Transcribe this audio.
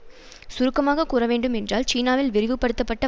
சுருக்கமாக கூற வேண்டும் என்றால் சீனாவில் விரிவுபடுத்தப்பட்ட